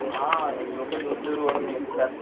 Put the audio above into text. हा लोक दूर दूर वरून येतात.